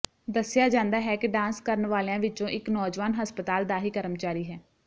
ਦੱਸਿਆ ਜਾਂਦਾ ਹੈ ਕਿ ਡਾਂਸ ਕਰਨ ਵਾਲਿਆਂ ਵਿੱਚੋਂ ਇੱਕ ਨੌਜਵਾਨ ਹਸਪਤਾਲ ਦਾ ਹੀ ਕਰਮਚਾਰੀ ਹੈ